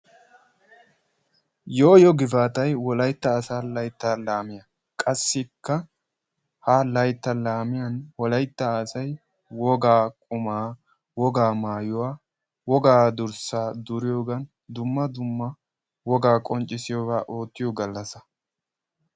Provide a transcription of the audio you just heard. Yoo yoo gifaatay Wolaytta asaa laytta laamiyaa, qassikka :ha laytta laamiyan Wolaytta asay wogaa qumaa, wogaa maayuwa, wogaa durssaa duriyoogan dumma dumma wogaa qonccisiyoogaa oottiyo galassa.